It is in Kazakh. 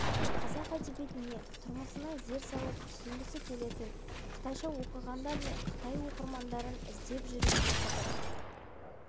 қазақ әдебиетіне тұрмысына зер салып түсінгісі келетін қытайша оқығандар мен қытай оқырмандары іздеп жүріп оқыды